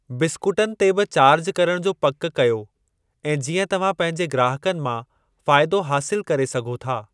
बिस्कुटनि ते बि चार्ज करणु जो पक कयो ऐं जीअं तव्हां पंहिंजे ग्राहकनि मां फ़ाइदो हासिलु करे सघो था।